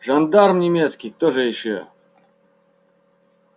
жандарм немецкий кто же ещё